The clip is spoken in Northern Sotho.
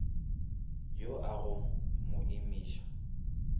yo a go mo imiša